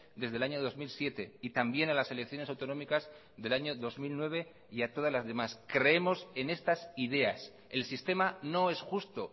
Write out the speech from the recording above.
desde el año dos mil siete y también a las elecciones autonómicas del año dos mil nueve y a todas las demás creemos en estas ideas el sistema no es justo